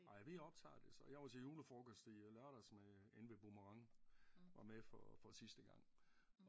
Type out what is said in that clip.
Ej vi optager det så. Jeg var til julefrokost i lørdags med inde ved Boomerang var med for sidste gang